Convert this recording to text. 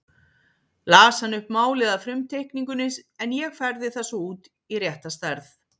Las hann upp málið af frumteikningunni en ég færði það svo út í rétta stærð.